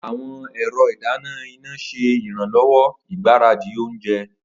Awọn ẹrọ idana ina ṣe iranlọwọ igbaradi ounjẹ.